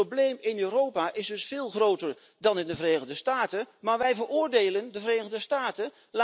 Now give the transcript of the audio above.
Het probleem in Europa is dus veel groter dan in de Verenigde Staten, maar wij veroordelen de Verenigde Staten!